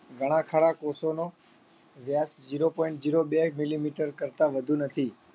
ઘણા ખરા કોષોનો વ્યાસ zero point zero બે millimeter કરતા વધુ નથી